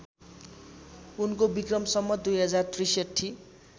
उनको विक्रम सम्वत २०६३